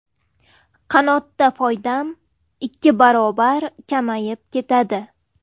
Qanotda foydam ikki barobar kamayib ketadi.